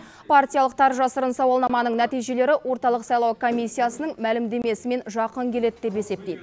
партиялықтар жасырын сауалнаманың нәтижелері орталық сайлау комиссиясының мәлімдемесімен жақын келеді деп есептейді